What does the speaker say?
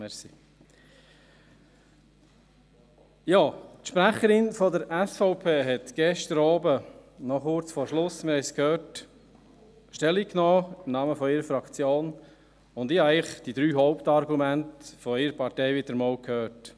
Die Sprecherin der SVP hat gestern Abend noch kurz vor Schluss – wir haben es gehört – im Namen ihrer Fraktion Stellung genommen, und ich habe eigentlich wieder einmal die drei Hauptargumente ihrer Partei gehört: